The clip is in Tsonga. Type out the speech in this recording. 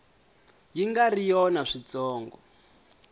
yi nga ri yona switsongo